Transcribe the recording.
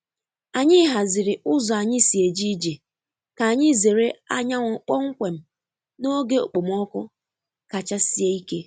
Anyị haziri ụzọ anyị si eje ije ka anyị zere anyanwụ kpọmkwem n’oge okpomọkụ kacha sie ike.